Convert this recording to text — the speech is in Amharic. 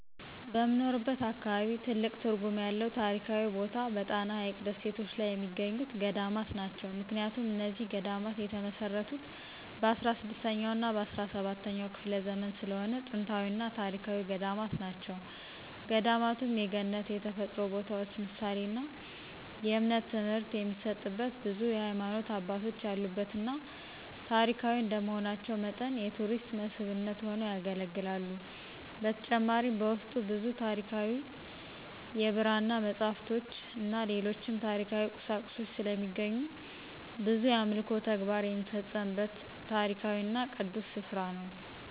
በምኖርበት አካባቢ ትልቅ ትርጉም ያለው ታሪካዊ ቦታ በጣና ሀይቅ ደሴቶች ላይ የሚገኙት ገዳማት ናቸው። ምክንያቱም እነዚህ ገዳማት የተመሰረቱት በ16ኛ እና በ17ኛ ክፍለ ዘመን ስለሆነ ጥንታዊና ታሪካዊ ገዳማት ናቸው። ገዳማቱም የገነት የተፈጥሮ ቦታዎች ምሳሌና የእምነት ትምህርት የሚሰጥበት ብዙ የሀይማኖት አባቶች ያሉበትና ታሪካዊ እንደመሆናቸው መጠን የቱሪስት መስህብነት ሆነው ያገለግላሉ። በተጨማሪም በውስጡ ብዙ ታሪካዊ የብራና መፅሃፍቶችን ሌሎችም ታሪካዊ ቁሳቁሶች ስለሚገኙ ብዙ የአምልኮ ተግባር የሚፈፀምበት ታሪካዊና ቅዱስ ስፍራ ነው።